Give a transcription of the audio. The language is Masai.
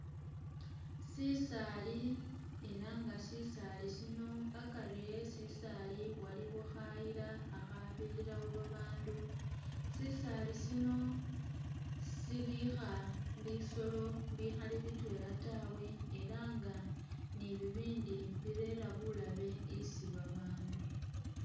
Sisaali ela nga sisaali sino akari e sisaali waliwo khayila khakhabirirawo babandu, sisaali sino sibikha bisolo bikhali bitwela tawe ela nga ni bibindi birera bulabe isi babandu